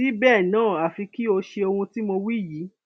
síbẹ náà àfi kí o ṣe ohun tí mo wí yìí